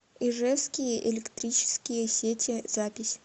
ижевские электрические сети запись